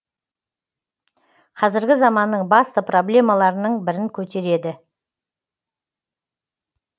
қазіргі заманның басты проблемаларының бірін көтереді